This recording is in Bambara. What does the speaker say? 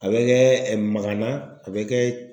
A bɛ kɛ ɛ magana, a bɛ kɛ